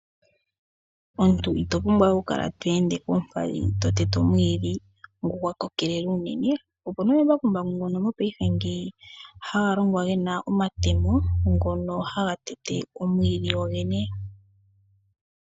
Omuntu ito pumbwa okukala to ende koompadhi to tete omwiidhi ngu gwa kokelela unene, opuna omambakumbaku ngono mo paife haga longwa gena omatemo ngono haga tete omwiidhi go gene.